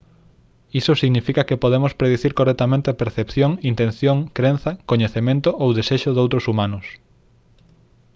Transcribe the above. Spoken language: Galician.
iso significa que podemos predicir correctamente a percepción intención crenza coñecemento ou desexo doutros humanos